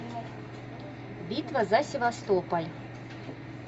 битва за севастополь